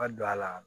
Ka don a la